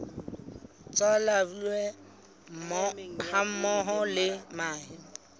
tsa larvae hammoho le mahe